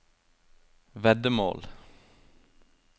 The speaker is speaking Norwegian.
veddemål